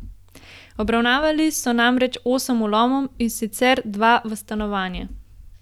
Obravnavali so namreč osem vlomov, in sicer dva v stanovanje.